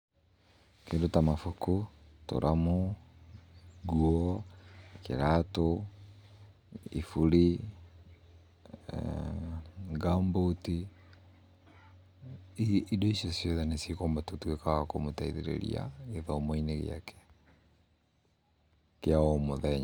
Kĩndũ ta mabuku, tũramu, ngũo, kĩratũ, iburi, ngambuti ici indo ciothe nĩ ci gũtuika wa kũmũteithĩrĩrĩa gĩthomo-inĩ gĩake kĩa o mũthenya